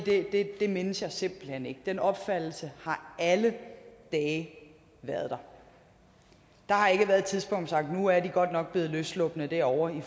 det mindes jeg simpelt hen ikke den opfattelse har alle dage været der der har ikke været et tidspunkt sagt nu er de godt nok blevet løsslupne derovre i